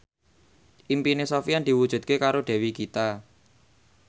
impine Sofyan diwujudke karo Dewi Gita